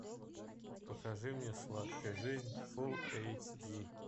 покажи мне сладкая жизнь фулл эйч ди